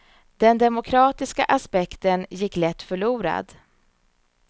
Den demokratiska aspekten gick lätt förlorad.